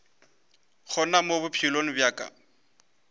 gona mo bophelong bja ka